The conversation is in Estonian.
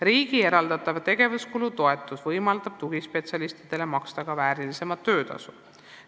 Riigi eraldatav tegevuskulu toetus võimaldab tugispetsialistidele maksta ka paremat töötasu.